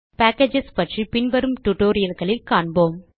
packages பற்றி பின்வரும் tutorialகளில் காண்போம்